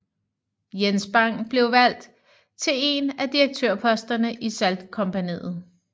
Jens Bang blev valgt til en af direktørposterne i saltkompagniet